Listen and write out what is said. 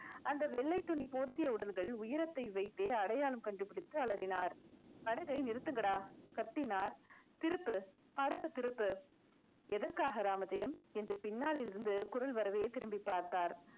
அந்த வெள்ளைத் துணி போர்த்திய உடல்கள் உயரத்தை வைத்தே அடையாளம் கண்டுபிடித்து அலறினார் படகை நிறுத்துங்கடா கத்தினார் திருப்பு படகை திருப்பு எதற்காக ராமஜெயம் என்று பின்னாளில் இருந்து குரல் வரவே திரும்பிப் பார்த்தார்.